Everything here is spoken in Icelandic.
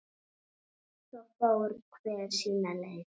Svo fór hver sína leið.